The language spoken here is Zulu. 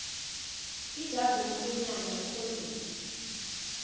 ijazi lomkhwenyana ikhondomu